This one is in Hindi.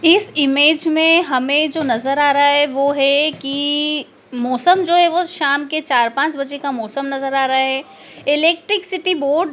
इस इमेज में हमें जो नजर आ रहा है वो है की मौसम जो है वो शाम के चार पांच बजे का मौसम नजर आ रहा है इलेक्ट्रिसिटी बोर्ड --